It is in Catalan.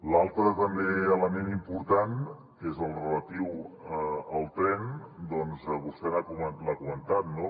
l’altre també element important que és el relatiu al tren vostè l’ha comentat no